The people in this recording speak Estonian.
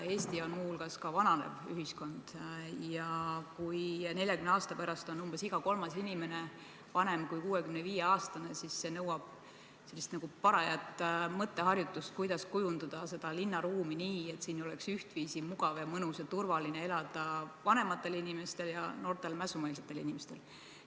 Eestis on muu hulgas vananev ühiskond ja kui 40 aasta pärast on umbes iga kolmas inimene vanem kui 65-aastane, siis see nõuab parajat mõtteharjutust, kuidas kujundada linnaruumi nii, et siin oleks ühtviisi mugav, mõnus ja turvaline elada vanematel inimestel ja ka noortel mässumeelsetel inimestel.